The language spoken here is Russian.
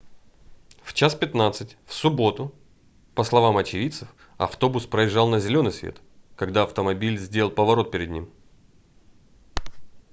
в 01:15 в субботу по словам очевидцев автобус проезжал на зелёный свет когда автомобиль сделал поворот перед ним